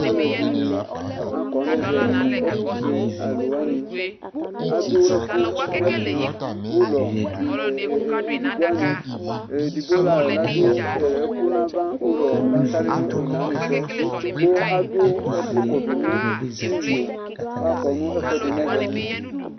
alò ɛdini akɔ n'ɛvɛ ɛtufue alòwani adu ɛkò n'ɛtu ulɔ edigbo wani edigbo la ladu ɛkò n'ava ulɔ la sali no one wani su yɛ kò adu ɛkò kɔdu n'iyo k'akɔ n'ɛfu ɛdi n'ɛvɛ